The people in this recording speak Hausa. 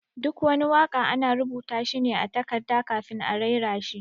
Duk wani waka ana rubuta shi ne a takarda kafin a raira shi.